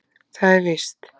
Það er víst.